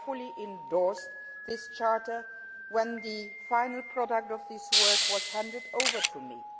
I fully endorsed that charter when the final outcome of this work was handed over to